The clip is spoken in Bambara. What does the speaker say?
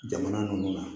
Jamana ninnu na